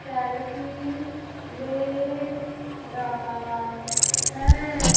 Selfie ले रहा है।